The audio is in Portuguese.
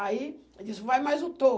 Aí ele disse, vai mais um